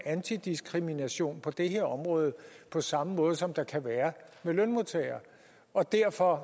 diskrimination på det her område på samme måde som der kan være med lønmodtagere og derfor